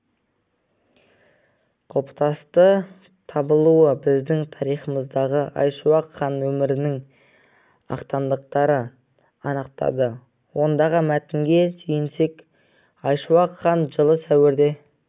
құлпытасы табылуы біздің тарихымыздағы айшуақ хан өмірінің ақтаңдақтарын анықтады ондағы мәтінге сүйенсек айшуақ хан жылы сәуірде